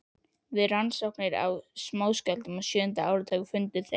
Við rannsóknir á smáskjálftum á sjöunda áratugnum fundu þeir